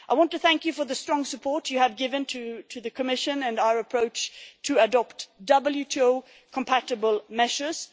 I want to thank you for the strong support you have given to the Commission and our approach to adopt WTO compatible measures.